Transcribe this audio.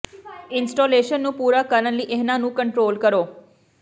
installation ਨੂੰ ਪੂਰਾ ਕਰਨ ਲਈ ਇਹਨਾਂ ਨੂੰ ਕੰਟ੍ਰੋਲ ਕਰੋ